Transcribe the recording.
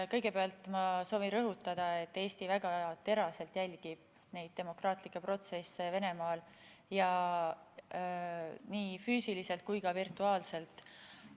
Kõigepealt ma soovin rõhutada, et Eesti väga teraselt jälgib demokraatlikke protsesse Venemaal ja nii füüsiliselt kui ka virtuaalselt.